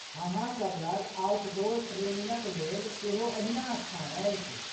अहाँ सभ लग आउटडोर ट्रेनिंग क लेल सेहो अहिनास्थान अछि?